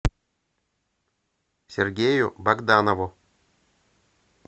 сергею богданову